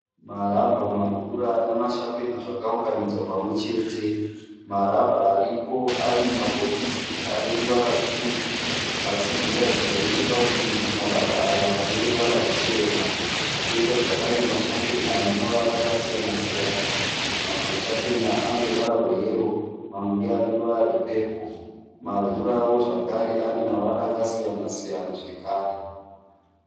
Marabha, marura nemashapena zvakaunganidzwa pamwechete. Marabha aripo ari mumabhokisi ane ruvara rutsvuku. Asi zvinoratidza necheparutivi kuti marabha aya ndeeruvara rwuchena. Koita zvakare mashapena ane mavara akasiyana-siyana . Mamwe mashapena ane ruvara rweyero mamwe ndeane ruvara rwepepuru. Marurawo zvekare ane ruvara rwakasiyana-siyana zvekare.